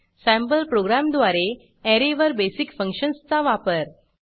sample प्रोग्रॅमद्वारे ऍरेवर basic फंक्शन्सचा वापर